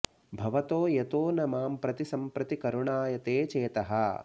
भवतो यतो न मां प्रति सम्प्रति करुणायते चेतः